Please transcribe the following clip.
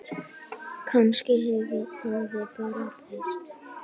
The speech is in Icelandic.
Kannski hefur hefðin bara breyst.